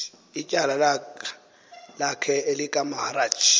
ityala lakhe elikamaharaj